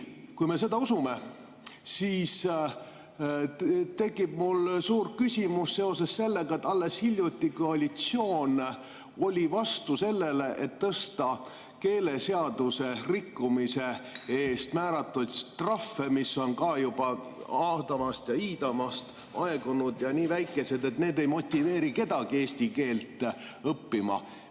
Kui me seda usume, siis tekib mul suur küsimus seoses sellega, et alles hiljuti koalitsioon oli vastu sellele, et tõsta keeleseaduse rikkumise eest määratud trahve, mis on samuti juba iidamast‑aadamast, aegunud ja nii väikesed, et need ei motiveeri kedagi eesti keelt õppima.